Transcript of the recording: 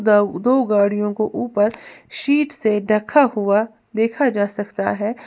दा दो गाड़ियों को ऊपर शीट से ढका हुआ देखा जा सकता है।